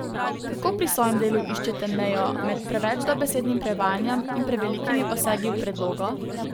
Kako pri svojem delu iščete mejo med preveč dobesednim prevajanjem in prevelikimi posegi v predlogo?